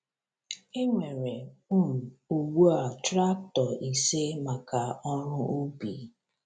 E nwere um ugbu a traktọ ise maka ọrụ ubi.